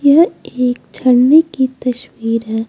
यह एक झरने की तस्वीर हैं।